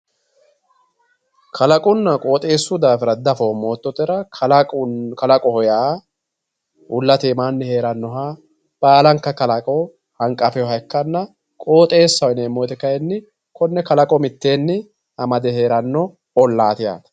kalaqonna qoxeesu daafira dafoomo yoototera kalaqoho yaa uulate iimaanni herannoha baalankka kalaqo hanqqafeyooha ikkanna qooxeesaho yineemowoyiite kaayiini konne kalaqo niteeni amade heeranno ollaati yaate.